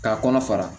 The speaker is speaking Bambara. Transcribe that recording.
K'a kɔnɔ fara